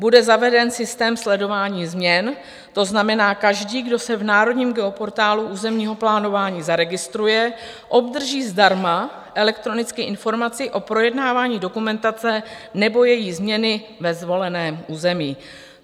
Bude zaveden systém sledování změn, to znamená každý, kdo se v Národním geoportálu územního plánování zaregistruje, obdrží zdarma elektronicky informaci o projednávání dokumentace nebo její změny ve svoleném území.